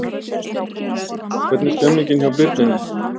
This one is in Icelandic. Hvernig er stemningin hjá Birninum?